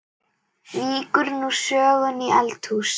Víkur nú sögunni í eldhús.